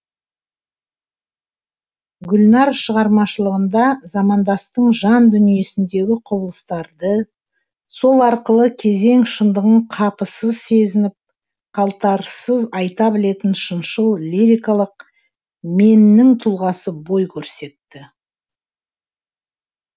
гүлнар шығармашылығында замандастың жан дүниесіндегі құбылыстарды сол арқылы кезең шындығын қапысыз сезініп қалтарыссыз айта білетін шыншыл лирикалық меннің тұлғасы бой көрсетті